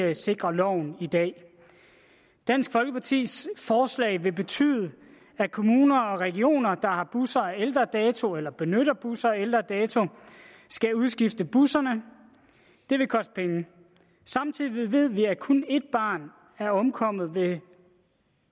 det sikrer loven i dag dansk folkepartis forslag vil betyde at kommuner og regioner der har busser af ældre dato eller benytter busser af ældre dato skal udskifte busserne det vil koste penge samtidig ved vi at kun ét barn er omkommet ved en